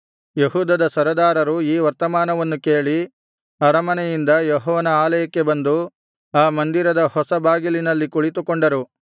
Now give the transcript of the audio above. ಯೆಹೂದದ ಸರದಾರರು ಈ ವರ್ತಮಾನವನ್ನು ಕೇಳಿ ಅರಮನೆಯಿಂದ ಯೆಹೋವನ ಆಲಯಕ್ಕೆ ಬಂದು ಆ ಮಂದಿರದ ಹೊಸ ಬಾಗಿಲಿನಲ್ಲಿ ಕುಳಿತುಕೊಂಡರು